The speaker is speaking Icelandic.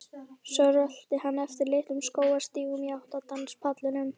Svo rölti hann eftir litlum skógarstígum í átt að danspallinum.